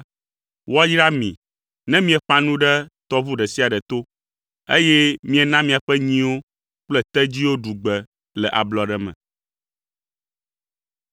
woayra mi ne mieƒã nu ɖe tɔʋu ɖe sia ɖe to, eye miena miaƒe nyiwo kple tedziwo ɖu gbe le ablɔɖe me.